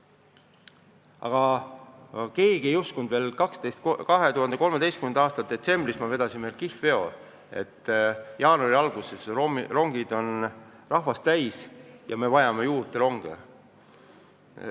Aga keegi ei uskunud veel 2013. aasta detsembris, kui me sõlmisime kihlveo, et jaanuari alguses rongid on rahvast täis ja me vajame ronge juurde.